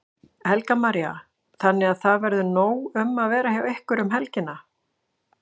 Helga María: Þannig að það verður nóg um að vera hjá ykkur um helgina?